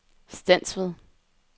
Stensved